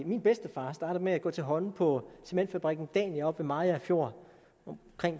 min bedstefar startede med at gå til hånde på cementfabrikken dania ved mariager fjord